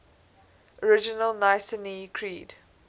original nicene creed